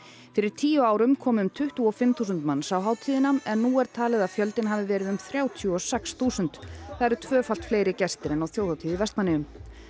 fyrir tíu árum komu um tuttugu og fimm þúsund manns á hátíðina en nú er talið að fjöldinn hafi verið um þrjátíu og sex þúsund það eru tvöfalt fleiri gestir en á þjóðhátíð í Vestmannaeyjum